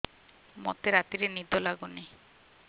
ମୋତେ ରାତିରେ ନିଦ ଲାଗୁନି